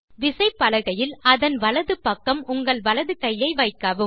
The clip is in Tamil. விசைப்பலகையில் அதன் வலது பக்கம் உங்கள் வலது கையை வைக்கவும்